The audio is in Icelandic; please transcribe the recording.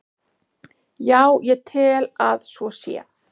Já, ég tel að svo sé.